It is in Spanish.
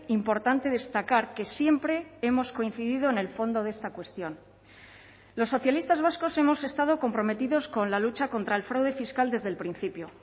importante destacar que siempre hemos coincidido en el fondo de esta cuestión los socialistas vascos hemos estado comprometidos con la lucha contra el fraude fiscal desde el principio